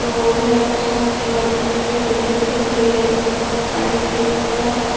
लोग हैं सामने वाइट कलर की बिल्डिंग दिख रही है जिसमें बहुत सारी खिड़कियां हैं।